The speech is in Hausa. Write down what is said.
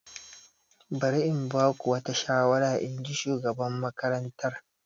Bari in ba ku wata shawara, in ji shugaban makarantar.